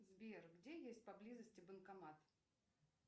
сбер где есть поблизости банкомат